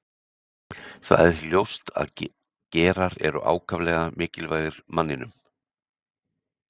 Það er því ljóst að gerar eru ákaflega mikilvægir manninum.